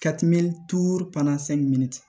Ka tɛmɛ